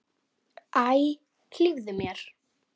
Æ, hlífðu mér!